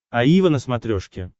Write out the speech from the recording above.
аива на смотрешке